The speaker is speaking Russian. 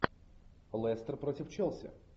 лестер против челси